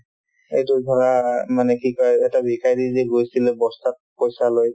এইটো ধৰা মানে কি কই এটা ভিখাৰী যে গৈছিলে বস্তাত পইচা লৈ